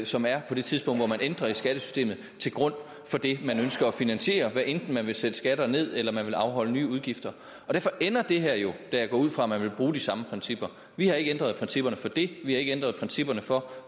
som er på det tidspunkt hvor man ændrer i skattesystemet til grund for det man ønsker at finansiere hvad enten man vil sætte skatter ned eller man vil afholde nye udgifter derfor ender det her jo da jeg går ud fra at man vil bruge de samme principper vi har ikke ændret principperne for dét vi har ikke ændret principperne for